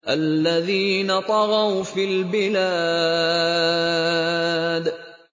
الَّذِينَ طَغَوْا فِي الْبِلَادِ